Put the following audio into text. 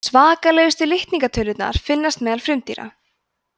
svakalegustu litningatölurnar finnast meðal frumdýra